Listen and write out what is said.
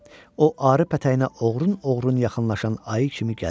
O arı pətəyinə oğrun-oğrun yaxınlaşan ayı kimi gəlirdi.